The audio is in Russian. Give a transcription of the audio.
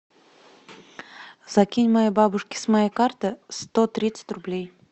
закинь моей бабушке с моей карты сто тридцать рублей